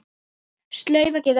Slaufa getur átt við